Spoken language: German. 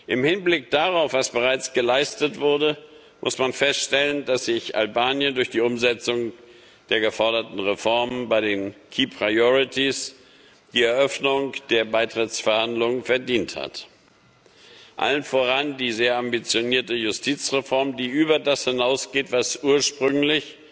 Im Hinblick darauf, was bereits geleistet wurde, muss man feststellen, dass sich Albanien durch die Umsetzung der geforderten Reformen bei den key priorities die Eröffnung der Beitrittsverhandlungen verdient hat allen voran die sehr ambitionierte Justizreform, die über das hinausgeht, was ursprünglich